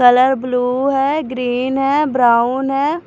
Colour blue है green है brown है।